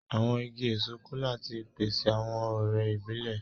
Àwọn ìgi èso Kola tí pèsè awọn ọrẹ ibilẹ.